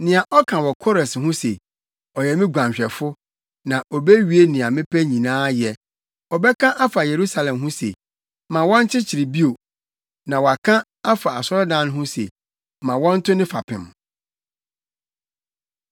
nea ɔka wɔ Kores ho se, ‘Ɔyɛ me guanhwɛfo na obewie nea mepɛ nyinaa yɛ; ɔbɛka afa Yerusalem ho se, “Ma wɔnkyekyere bio,” na waka afa asɔredan no ho se, “Ma wɔnto ne fapem.” ’”